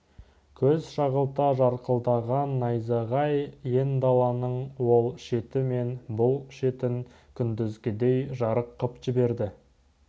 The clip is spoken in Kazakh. көз шағылта жарқылдаған найзағай ен даланың ол шеті мен бұл шетін күндізгідей жарық қып жіберді